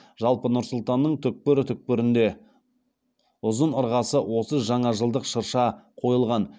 жалпы нұр сұлтанның түкпір түкпірінде ұзын ырғасы отыз жаңажылдық шырша қойылған